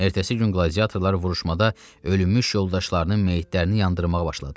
Ertəsi gün qladiatorlar vuruşmada ölmüş yoldaşlarının meyitlərini yandırmağa başladılar.